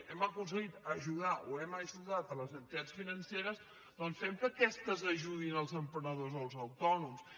hem aconseguit ajudar o hem ajudat les entitats financeres doncs fem que aquestes ajudin els emprenedors o els autònoms